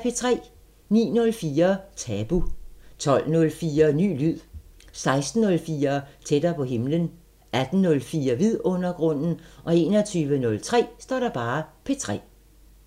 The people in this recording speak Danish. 09:04: Tabu 12:04: Ny lyd 16:04: Tættere på himlen 18:04: Vidundergrunden 21:03: P3